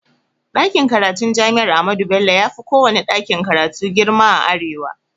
Ɗakin karatun jami'ar ahmadu bello yafi kowanne ɗakin karatu girma a arewa